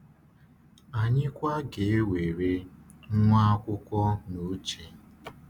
Anyị kwa ga-ewere nwaakwụkwọ n’uche.